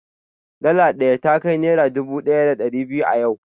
dala ɗaya takai naira dubu ɗaya da ɗari biyu a yau